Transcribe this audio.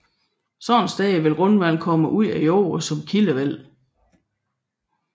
Sådanne steder vil grundvandet komme ud af jorden som kildevæld